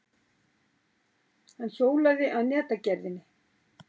Hann hjólaði að netagerðinni.